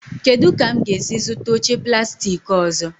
Kedụ ka m ga-esi zụta oche plastik ọzọ?